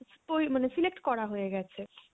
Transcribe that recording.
ওই মানে select করা হয়ে গেছে